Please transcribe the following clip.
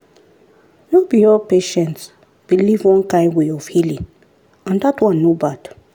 no be all patients believe one kind way of healing and dat one no bad.